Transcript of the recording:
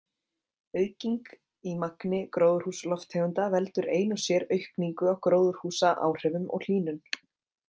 Auking í magni gróðurhúsalofttegunda veldur ein og sér aukningu á gróðurhúsaáhrifum og hlýnun.